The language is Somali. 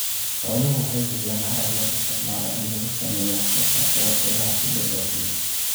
Xooluhu waxay bixiyaan harag loo isticmaalo in lagu sameeyo wax soo saarka warshadaha si loo dhoofiyo.